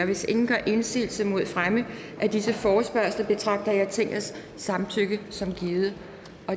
hvis ingen gør indsigelse mod fremme af disse forespørgsler betragter jeg tingets samtykke som givet